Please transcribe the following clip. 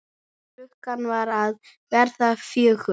Klukkan var að verða fjögur.